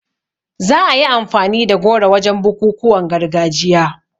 Za a yi amfani da goro wajen bukukuwan gargajiya